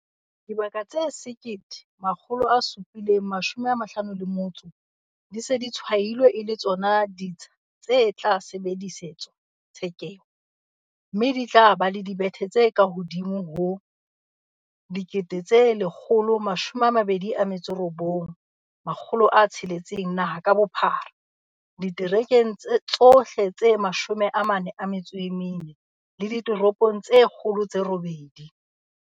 Dibaka tse 1 751 di se di tshwailwe e le tsona ditsha tse tla sebedisetswa tshekeho, mme di tla ba le dibethe tse kahodimo ho 129 600 naha ka bophara, diterekeng tsohle tse 44 le ditoropong tse kgolo tse robedi.